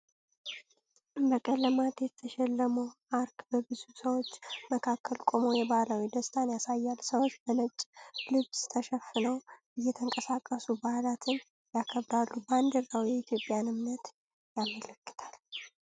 በቀለማት የተሸለመ አርክ በብዙ ሰዎች መካከል ቆሞ የባህላዊ ደስታን ያሳያል። ሰዎች በነጭ ልብስ ተሸፍነው እየተንቀሳቀሱ በዓላትን ይከብራሉ። ባንዲራው የኢትዮጵያን እምነት ያመለክታል።